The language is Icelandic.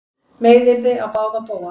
Meiðyrði á báða bóga